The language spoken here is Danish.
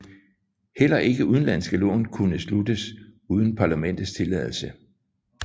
Heller ikke udenlandske lån kunne sluttes uden parlamentets tilladelse